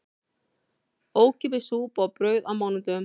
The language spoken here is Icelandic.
Ókeypis súpa og brauð á mánudögum